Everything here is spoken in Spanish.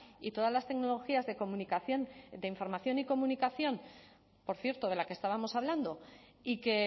y todas las tecnologías de comunicación de información y comunicación por cierto de la que estábamos hablando y que